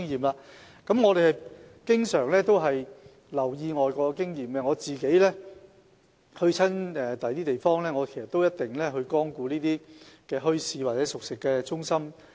當局經常留意外國經驗，我到訪其他地方時，一定會光顧墟市或熟食中心。